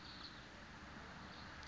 port